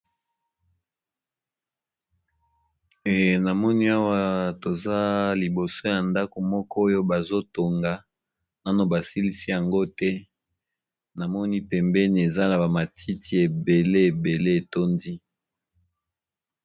Namoni awa toza liboso ya ndako moko oyo bazotonga, nano basilisi yango te, namoni pembeni ezala bamatiti ebele ebele etondi.